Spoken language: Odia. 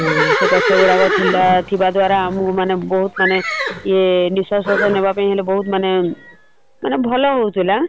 ହୁଁ ସେ ଗଛଗୁଡାକ ଥିଲା ଥିବା ଦ୍ଵାରା ଆମକୁ ମାନେ ବହୁତ୍ ମାନେ ଇଏ ନିଶ୍ଵାସ ପ୍ରଶ୍ବାସ ନେବାପାଇଁ ମାନେ ବହୁତ୍ ମାନେ ମାନେ ଭଲ ହଉଥିଲା ।